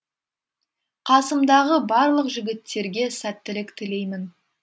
қасымдағы барлық жігіттерге сәттілік тілеймін